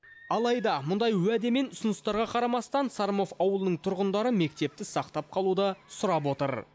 алайда мұндай уәде мен ұсыныстарға қарамастан сормов ауылының тұрғындары мектепті сақтап қалуды сұрап отыр